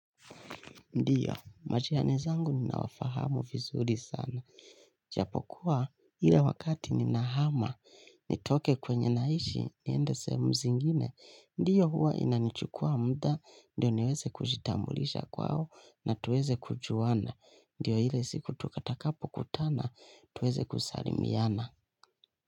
Ndio, majirani zangu ninawafahamu vizuri sana. Ijapokuwa ile wakati ninahama, nitoke kwenye naishi, niende sehemu zingine. Ndio huwa inanichukua muda, ndio niweze kujitambulisha kwao na tuweze kujuana. Ndio ile siku tutakapo kutana, tuweze kusalimiana.